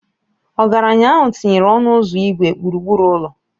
Ọgaranya ahụ tinyere ọnụ ụzọ igwe gburugburu ụlọ.